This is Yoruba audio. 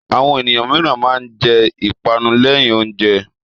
Àwọn ènìyàn mìíràn máa ń jẹ ìpanu lẹ́yìn oúnjẹ.